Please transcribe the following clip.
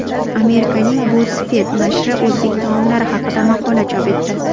Amerikaning BuzzFeed nashri o‘zbek taomlari haqida maqola chop etdi.